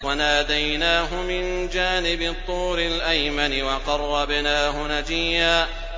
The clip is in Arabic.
وَنَادَيْنَاهُ مِن جَانِبِ الطُّورِ الْأَيْمَنِ وَقَرَّبْنَاهُ نَجِيًّا